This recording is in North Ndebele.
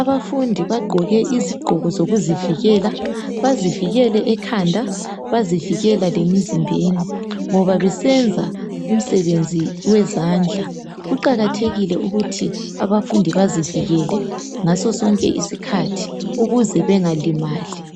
Abafundi bagqoke izigqoko zokuzivela. Bazivikele ekhanda. Bazivikela lemzimbeni. Kuqajathekile ukuthi abafundi bazivikele ngaso sonke isikhathi ukuze bengalimali,